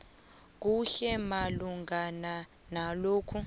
kuhle malungana nalokhu